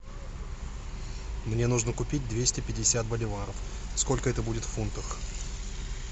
мне нужно купить двести пятьдесят боливаров сколько это будет в фунтах